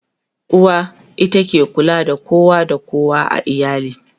uwa ita ke kulawa da kowa da kowa a iyali